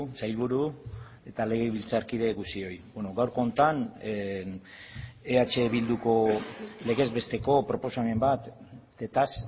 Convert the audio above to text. sailburu eta legebiltzarkide guztioi gaurko honetan eh bilduko legez besteko proposamen batetaz